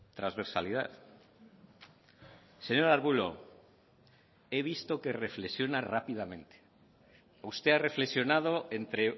transversalidad señor arbulo he visto que reflexiona rápidamente usted ha reflexionado entre